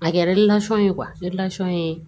A kɛra ye ye